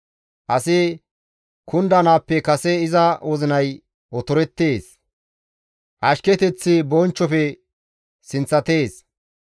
Asi kundanaappe kase iza wozinay otorettees; ashketeththi bonchchofe sinththatees.